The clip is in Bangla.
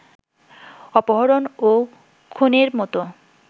অপহরণ ও খুনের মতো